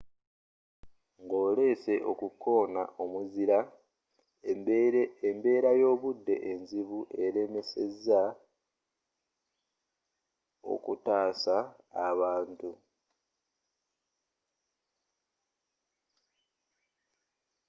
ng'olesse okukona omuzira embbera y'obudde enzibu elemesezza okutasa abantu